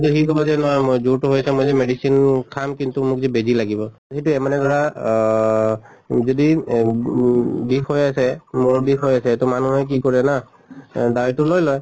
সি কʼব যে নহয় মই জ্বৰতো হৈছে মই যদি medicine খাম কিন্তু মোক জে বেজি লাগিব। সেইটোয়ে মানে ধৰা অহ যদি এহ গু বিষ হৈ আছে মূৰৰ বিষ হৈ আছে তʼ মানুহে কি কৰে না এহ দাৱাইটো লৈ লয়